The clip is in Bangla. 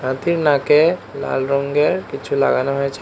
হাতির নাকে লাল রঙ্গের কিছু লাগানো হয়েছে।